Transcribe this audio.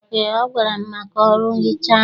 Eé, ọ gwara m maka ọrụ nhicha ahụ.